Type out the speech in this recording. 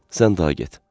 Sən daha get.